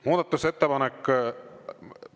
Muudatusettepanek …